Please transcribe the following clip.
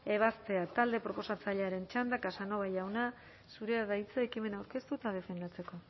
ebaztea talde proposatzailearen txanda casanova jauna zurea da hitza ekimena aurkeztu eta defendatzeko